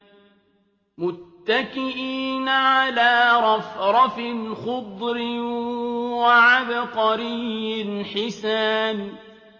مُتَّكِئِينَ عَلَىٰ رَفْرَفٍ خُضْرٍ وَعَبْقَرِيٍّ حِسَانٍ